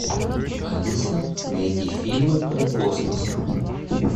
алиса найди фильмы про космос